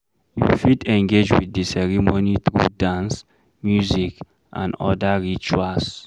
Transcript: You fit engage with the ceremony through dance, music and oda rituals